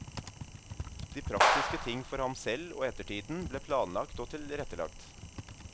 De praktiske ting for ham selv og ettertiden ble planlagt og tilrettelagt.